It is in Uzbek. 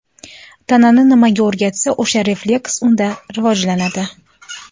Tanani nimaga o‘rgatsa, o‘sha refleks unda rivojlanadi.